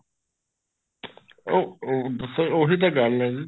ਅਹ sir ਉਹੀ ਤਾਂ ਗੱਲ ਹੈ ਜੀ